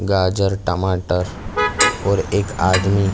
गाजर टमाटर और एक आदमी